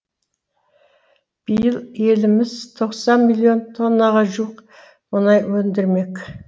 биыл еліміз тоқсан миллион тоннаға жуық мұнай өндірмек